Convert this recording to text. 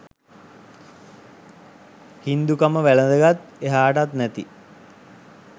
හින්දුකම වැලඳගත් එහාටත් නැති